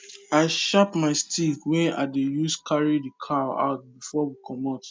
i sharp my stick wey i dey use carry the cow out before we comot